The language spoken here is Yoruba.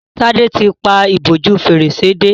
Tade tí ń pá ìbòjú Fèrèsé dé.